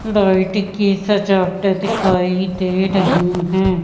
Light की सजावटे दिखाई दे रही हैं।